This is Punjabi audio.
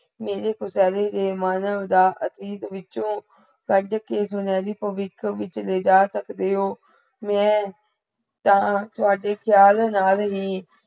ਮੇਰੇ ਤੋਂ ਫੈਹੇਲੇ ਸੇ ਮਨ ਉਦਾਸ ਅਤੀਤ ਵਿੱਚੋ ਕਢ ਕੇ ਵਿਚ ਲੇਜਾ ਸਕਤੇ ਹੋ ਮੇ ਯਹਾਂ ਤਾਵਾਂਦੇ ਖ਼ਿਆਲ ਨਾਲ ਹੀ